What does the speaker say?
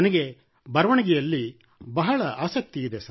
ನನಗೆ ಬರವಣಿಗೆಯಲ್ಲಿ ಬಹಳ ಆಸಕ್ತಿ ಇದೆ